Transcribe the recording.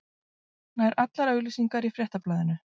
Nær allar auglýsingar í Fréttablaðinu